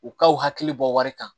U k'aw hakili bɔ wari kan